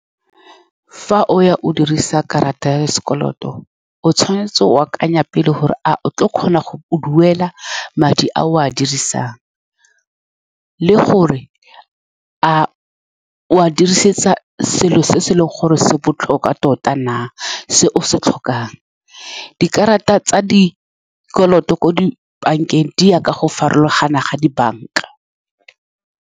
Fa o ya o dirisa karata ya sekoloto, o tshwanetse go akanya pele gore a o tlile go kgona go a duela madi a o a dirisang, le gore a o a dirisetsa selo se se leng gore se botlhokwa tota na, se o se tlhokang. Dikarata tsa dikoloto ko di bankeng di ya ka go farologana ga dibanka.